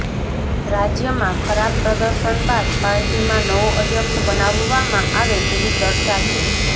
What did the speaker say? રાજ્યમાં ખરાબ પ્રદર્શન બાદ પાર્ટીમાં નવો અધ્યક્ષ બનાવવામાં આવે તેવી ચર્ચા છે